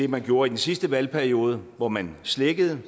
man gjorde i den sidste valgperiode hvor man slækkede